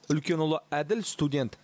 үлкен ұлы әділ студент